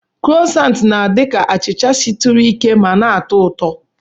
Krosanti na-adi ka achicha shituru ike ma na-atọ ụtọ.